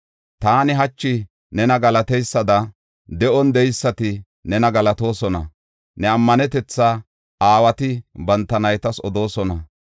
Taani hachi nena galateysada, de7on de7eysati nena galatoosona. Ne ammanetetha aawati banta naytas odoosona.